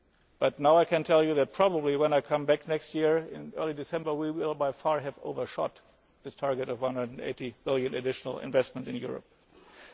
but now I can tell you that probably, when I come back next year in early December, we will have overshot this target of EUR 180 billion additional investment in Europe by